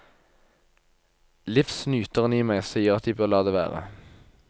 Livsnyteren i meg sier at de bør la det være.